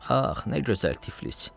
Ax, nə gözəl Tiflis!